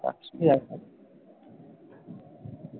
রাখছি তাহলে